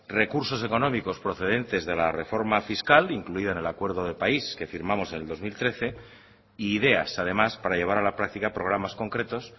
recursos económicos procedentes de la reforma fiscal incluida en el acuerdo de país que firmamos en el dos mil trece e ideas además para llevar a la práctica programas concretos